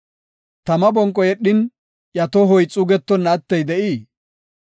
Tama bonqo yedhin, iya tohoy xuugetonna attey de7ii?